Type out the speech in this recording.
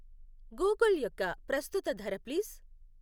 Google యొక్క ప్రస్తుత ధర ప్లీజ్.